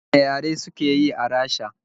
Wane yare suke yi a Rasha?